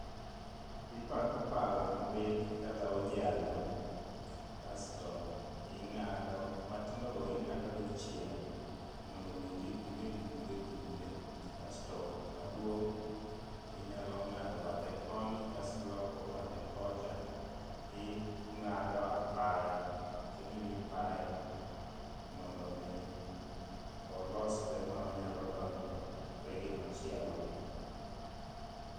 Ipako pala mabith kata ojalo kasto ing'ado matindo go ing'ado dichiel mondo kik gibed gi pihde pidhe , kasto maduong' inyalo ng'ado bathe koni kasi loko bathe kocha ing'ado apaya, kagima ipaye mondo mi olosre manyalo donjore gi machielo.